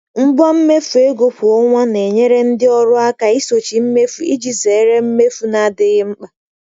Ngwa mmefu ego kwa ọnwa na-enyere ndị ọrụ aka isochi mmefu iji zere mmefu na-adịghị mkpa.